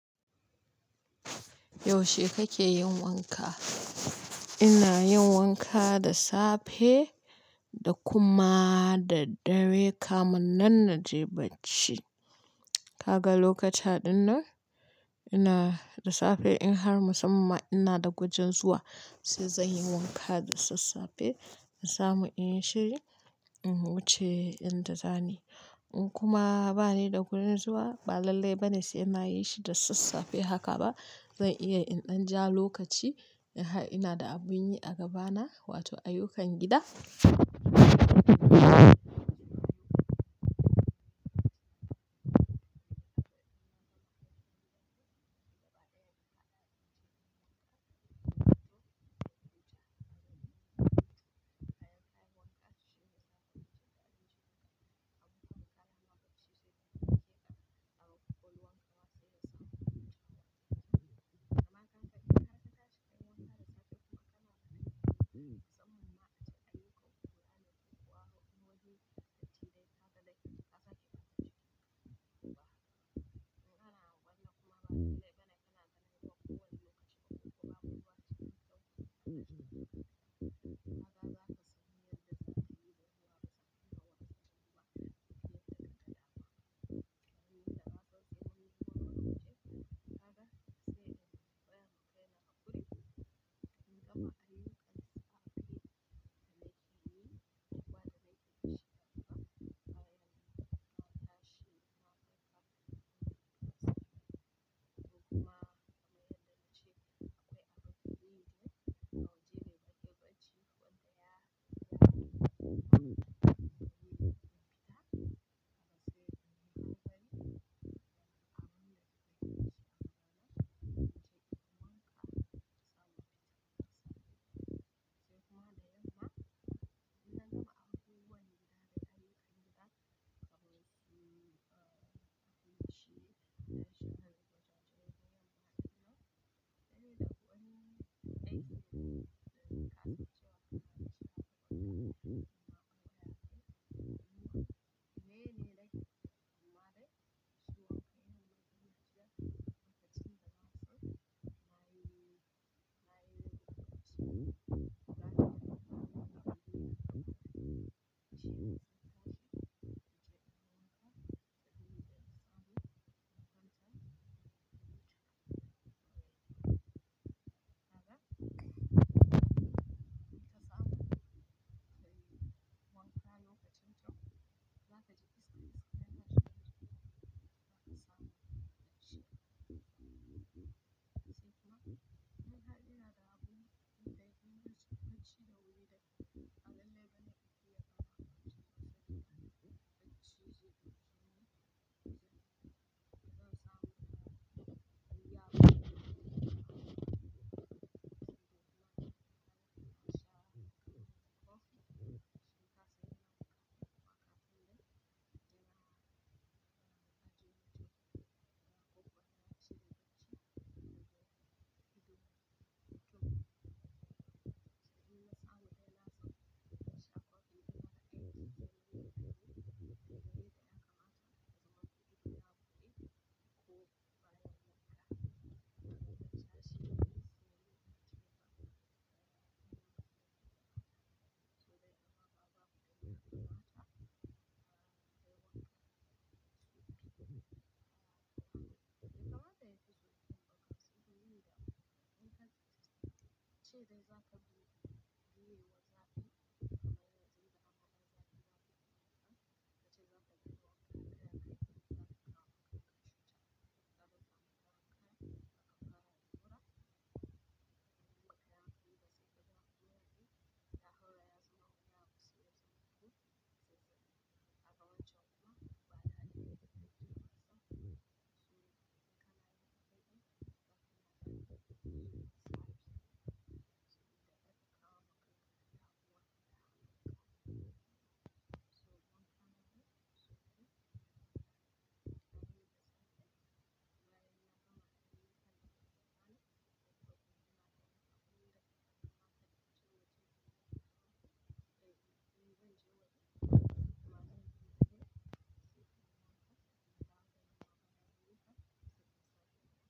Yaushe kake yin wanka? Ina yin wanka da safe da kuma da dare kamin nan na je barci. Kaga lokuta ɗinnan ina da safe in har musamman ina da gwajen zuwa sai zan yi wanka da sassafe in samu in yi shiri in wuce in da dani. In kuma ba ni da gurin zuwa ba lallai ba ne sai na yi shi da sassafe haka ba. Zan iya in ɗan ja lokaci in har ina da abin yi a gabana wato ayyukan gida.